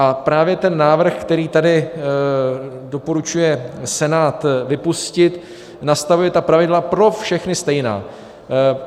A právě ten návrh, který tady doporučuje Senát vypustit, nastavuje ta pravidla pro všechny stejná.